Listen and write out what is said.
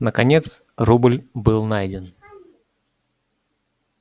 наконец рубль был найден